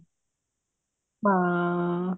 ਹਾਂ